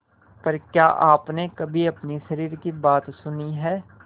पर क्या आपने कभी अपने शरीर की बात सुनी है